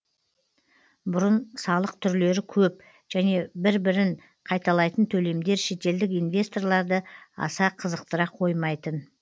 бұрын салық түрлері көп және бір бірін қайталайтын төлемдер шетелдік инвесторларды аса қызықтыра қоймайтын